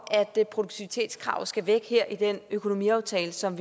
at produktivitetskravet skal væk i den økonomiaftale som